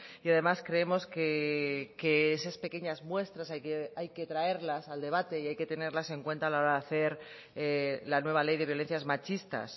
y además creemos que esas pequeñas muestras hay que traerlas al debate y hay que tenerlas en cuenta a la hora de hacer la nueva ley de violencias machistas